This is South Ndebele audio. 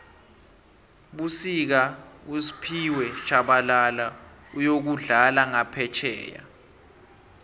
fbusika usphiwe shabala uyokudlala ngaphefjheya